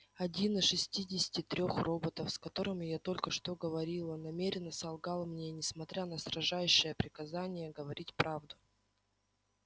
один из шестидесяти трёх роботов с которыми я только что говорила намеренно солгал мне несмотря на строжайшее приказание говорить правду